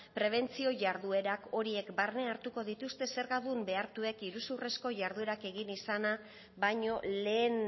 prebentzio jarduera horiek barne hartuko dituzten zergadun behartuek iruzurrezko jarduera egin izana baino lehen